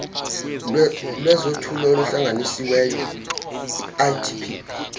lwezothutho oluhlanganisiweyo itp